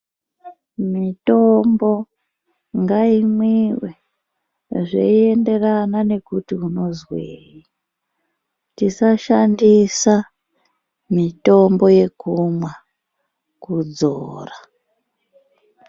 Mitombo ngaimwiwe zveienderana nekuti unozwei. Tisashandisa mitombo yekumwa kudzora.